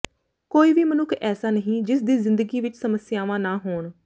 ਕੋਈ ਵੀ ਮਨੁੱਖ ਐਸਾ ਨਹੀਂ ਜਿਸ ਦੀ ਜ਼ਿੰਦਗੀ ਵਿਚ ਸਮੱਸਿਆਵਾਂ ਨਾ ਹੋਣ